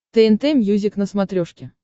тнт мьюзик на смотрешке